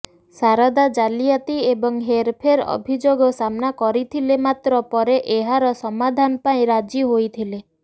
ଶାରଦା ଜାଲିଆତି ଏବଂ ହେରଫେର ଅଭିଯୋଗ ସାମ୍ନା କରିଥିଲେ ମାତ୍ର ପରେ ଏହାର ସମାଧାନ ପାଇଁ ରାଜି ହୋଇଥିଲେ